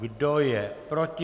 Kdo je proti?